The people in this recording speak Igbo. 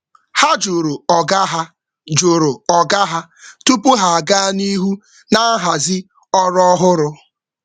Ha jụrụ oga tupu ha aga n’ihu na nhazi n’ihu na nhazi ọrụ ọhụrụ.